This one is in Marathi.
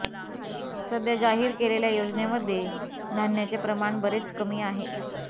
सध्या जाहीर केलेल्या योजनेमध्ये धान्याचे प्रमाण बरेच कमी आहे